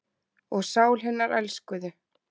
Og sál hinnar elskuðu.